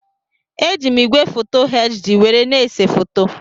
Eji m igwefoto HD were na-ese foto.